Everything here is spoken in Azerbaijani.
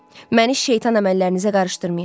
Məni şeytan əməllərinizə qarışdırmayın.